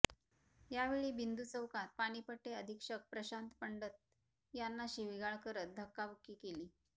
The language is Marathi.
यावेळी बिंदू चौकात पाणीपट्टी अधीक्षक प्रशांत पंडत यांना शिवीगाळ करत धक्काबुक्की केली